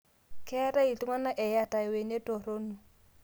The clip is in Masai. Ketai ltungana eyata lwenet toruno